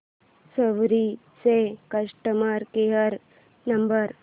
सवारी चा customer care number